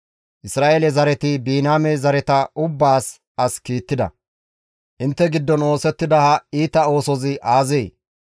Isra7eele zareti Biniyaame zareta ubbaas as kiittida; «Intte giddon oosettida ha iita oosozi aazee?